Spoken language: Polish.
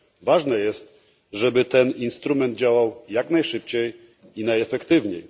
Ważne jest, żeby ten instrument działał jak najszybciej i najefektywniej.